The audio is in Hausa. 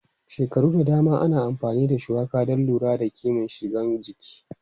Shekaru da dama ana amfani da shuwaka don lura da kiman sigan jini.